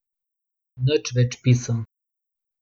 Nič več pisem.